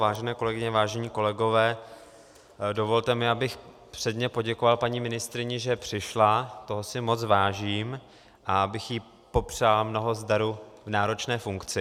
Vážené kolegyně, vážení kolegové, dovolte mi, abych předně poděkoval paní ministryni, že přišla, toho si moc vážím, a abych jí popřál mnoho zdaru v náročné funkci.